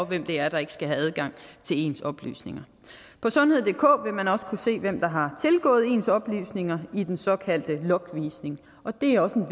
hvem det er der ikke skal have adgang til ens oplysninger på sundheddk vil man også kunne se hvem der har tilgået ens oplysninger i den såkaldte logvisning og det er også en